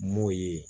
M'o ye